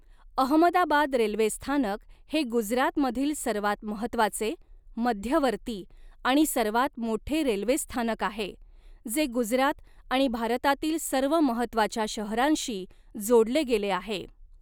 Ahmedabad railway स्थानक हे गुजरातमधील सर्वात महत्त्वाचे, मध्यवर्ती आणि सर्वात मोठे रेल्वे स्थानक आहे, जे गुजरात आणि भारतातील सर्व महत्त्वाच्या शहरांशी जोडले गेले आहे.